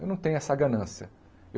Eu não tenho essa ganância.